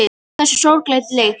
Hversu sorglega lélegt.